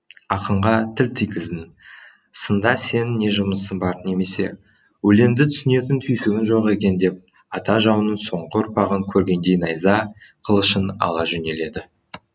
ақынға тіл тигіздің сында сенің не жұмысың бар немесе өлеңді түсінетін түйсігің жоқ екен деп ата жауының соңғы ұрпағын көргендей найза қылышын ала жөнеледі